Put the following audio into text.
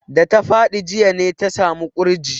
Da ta faɗi jiya ne ta samu ƙurji.